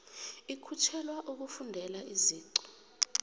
ikhutjhelwa ukufundela iziqu